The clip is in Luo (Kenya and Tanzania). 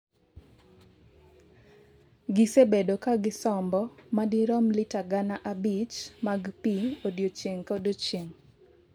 gisebedo ka gisombo madirom lita gana abich mag pii odiochieng' kodiochieng'